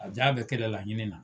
A jaa a be kɛlɛ laɲini na.